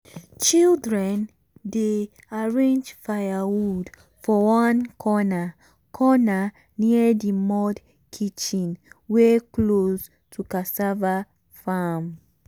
children dey arrange firewood for one corner corner near the mud kitchen wey close to cassava farm.